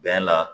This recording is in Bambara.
Bɛn la